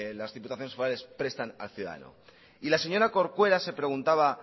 las diputaciones forales prestan al ciudadano y la señora corcuera se preguntaba